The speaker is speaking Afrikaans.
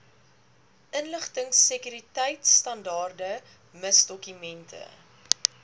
inligtingsekuriteitstandaarde miss dokumente